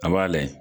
A b'a layɛ